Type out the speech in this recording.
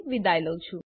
જોડાવા બદ્દલ આભાર